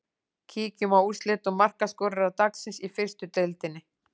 Kíkjum á úrslit og markaskorara dagsins í fyrstu deildinni.